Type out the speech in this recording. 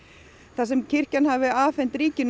þar sem kirkjan hafi afhent ríki